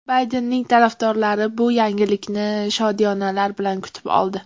Baydenning tarafdorlari bu yangilikni shodiyonalar bilan kutib oldi.